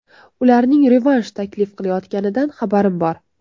Ularning revansh taklif qilayotganidan xabarim bor.